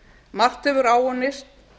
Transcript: margt hefur áunnist